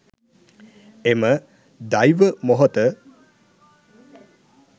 එම දෛව මොහොත